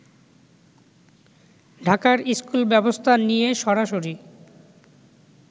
ঢাকার স্কুল ব্যবস্থা নিয়ে সরাসরি